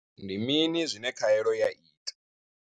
Ndi mini zwine khaelo ya ita?